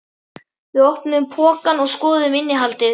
Við opnuðum pokann og skoðuðum innihaldið.